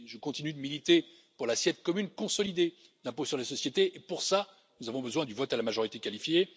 Je continue de militer pour l'assiette commune consolidée d'impôt sur les sociétés, et pour cela, nous avons besoin du vote à la majorité qualifiée.